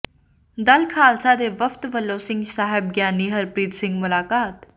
ਦਲ ਖ਼ਾਲਸਾ ਦੇ ਵਫ਼ਦ ਵੱਲੋਂ ਸਿੰਘ ਸਾਹਿਬ ਗਿਆਨੀ ਹਰਪ੍ਰੀਤ ਸਿੰਘ ਮੁਲਾਕਾਤ